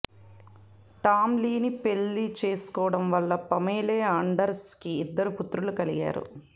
Tom లీని పెళ్శి చేసుకోవడం వల్ల పమేలా ఆండర్సన్ కి ఇద్దరు పుత్రులు కలిగారు